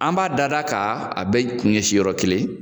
An b'a dada k'a a bɛ kun ɲɛ si yɔrɔ kelen